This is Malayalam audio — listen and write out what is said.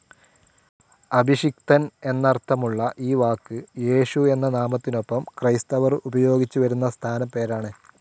അഭിഷിക്തൻ എന്നർത്ഥമുള്ള ഈ വാക്ക് യേശു എന്ന നാമത്തിനൊപ്പം ക്രൈസ്തവർ ഉപയോഗിച്ചു വരുന്ന സ്ഥാനപ്പേരാണ്.